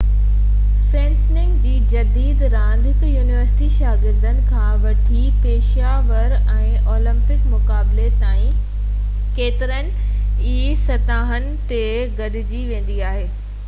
fencing جي جديد راند هڪ يونيورسٽي شاگرد کان وٺي پيشہ ور ۽ اولمپڪ مقابلي تائين ڪيترين ئي سطحن تي کيڏي ويندي آهي